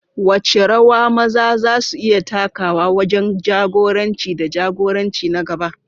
Wace rawa maza za su iya takawa wajen jagoranci da jagoranci na gaba?